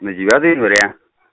на девятое января